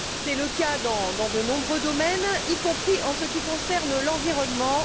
C'est le cas dans de nombreux domaines, y compris en ce qui concerne l'environnement.